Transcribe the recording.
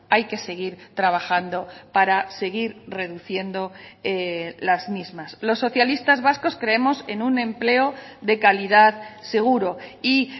hay que seguir trabajando para seguir reduciendo las mismas los socialistas vascos creemos en un empleo de calidad seguro y